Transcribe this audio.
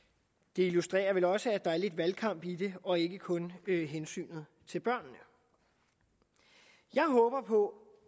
det illustrerer vel også at der er lidt valgkamp i det og ikke kun hensynet til børnene jeg håber på